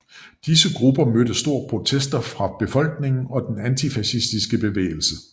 Disse grupper mødte store protester fra befolkningen og den antifascistiske bevægelse